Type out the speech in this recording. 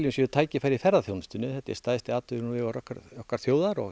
séu tækifæri í ferðaþjónustunni þetta er stærsti atvinnuvegur okkar okkar þjóðar og